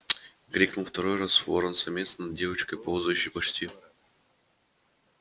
крикнул второй раз ворон-самец над девочкой ползающей почти